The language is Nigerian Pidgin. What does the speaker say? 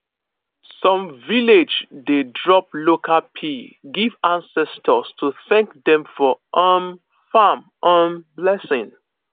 some village dey drop local pea give ancestors to thank dem for um farm um blessing